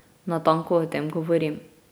Natanko o tem govorim.